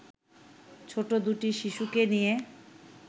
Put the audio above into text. ছোট দুটি শিশুকে নিয়ে